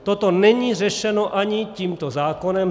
Toto není řešeno ani tímto zákonem.